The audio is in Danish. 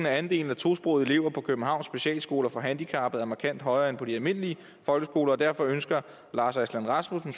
andelen af tosprogede elever på københavns specialskoler for handicappede er markant højere end på de almindelige folkeskoler derfor ønsker lars aslan rasmussen